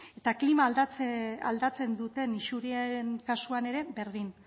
eta klima aldatzen duten isuriaren kasuan ere berdin